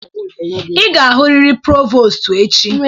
Ị ga-ahụrịrị prọvostụ echi!